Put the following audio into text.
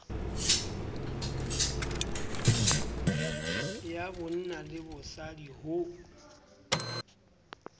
ya bonna le bosadi ho